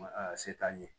Ma a se t'an ye